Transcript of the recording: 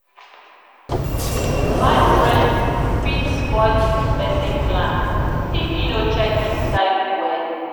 bad friends fit spoil pesin plan if e no check im circle wella.